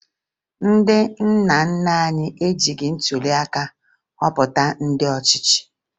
Ndị nna nna anyị ejighi ntụliaka họpụta ndị ọchịchị